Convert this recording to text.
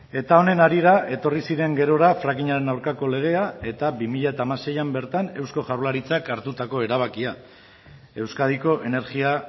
eta honen harira etorri ziren gerora frackingaren aurkako legea eta bi mila hamaseian bertan eusko jaurlaritzak hartutako erabakia euskadiko energia